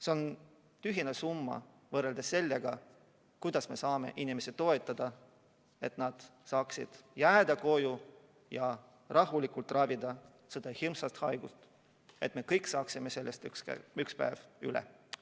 See on tühine summa võrreldes selle kasuga, et me saame inimesi toetada, et nad saaksid jääda koju ja rahulikult ravida seda hirmsat haigust ning me kõik saaksime sellest ühel päeval üle.